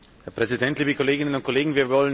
Herr Präsident, liebe Kolleginnen und Kollegen!